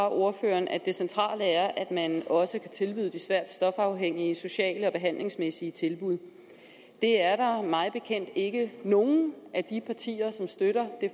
af ordføreren at det centrale er at man også kan tilbyde de svært stofafhængige sociale og behandlingsmæssige tilbud det er der mig bekendt ikke nogen af de partier som støtter det